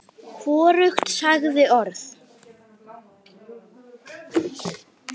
Hvorugt sagði orð.